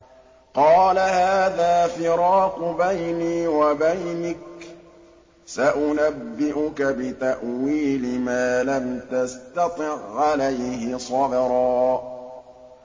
قَالَ هَٰذَا فِرَاقُ بَيْنِي وَبَيْنِكَ ۚ سَأُنَبِّئُكَ بِتَأْوِيلِ مَا لَمْ تَسْتَطِع عَّلَيْهِ صَبْرًا